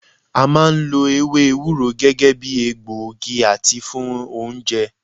A máà ń lo ewé ewúro gẹ́gẹ́ bíi egbògi àti fún oúnjẹ.